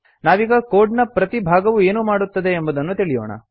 ನಾವೀಗ ಕೋಡ್ ನ ಪ್ರತಿ ಭಾಗವು ಏನನ್ನು ಮಾಡುತ್ತದೆ ಎಂಬುದನ್ನು ತಿಳಿಯೋಣ